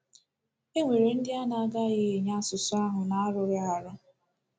E nwere ndị a na-agaghị enye asụsụ ahụ na-arughị arụ.